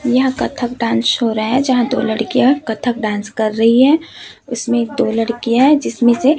यह Kathak dance show हो रहा है जहां दो लड़कियां कथक डांस कर रही हैं उसमें एक दो लड़कियां हैं जिसमें से--